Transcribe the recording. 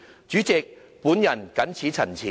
主席，本人謹此陳辭。